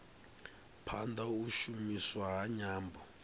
phanda u shumiswa ha nyambo